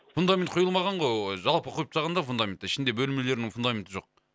фундамент құйылмаған ғой ы жалпы құйып тастаған да фундаментті ішінде бөлмелерінің фундаменті жоқ